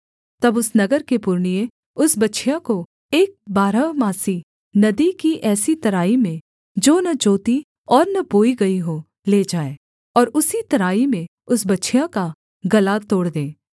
तब उस नगर के पुरनिये उस बछिया को एक बारहमासी नदी की ऐसी तराई में जो न जोती और न बोई गई हो ले जाएँ और उसी तराई में उस बछिया का गला तोड़ दें